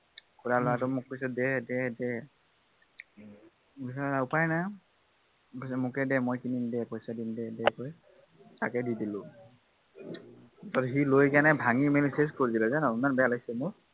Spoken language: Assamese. খুৰা লৰাটোৱে মোক কৈছে দে দে দে তাৰপাছত উপায় নাই মোকে দে মই কিনিম দে পইচা দিম দে কৈ তাকে দি দিলো। সি লৈকেনে ভাঙি চেচ কৰি দিলে জান ইমান বেয়া লাগিছে মোৰ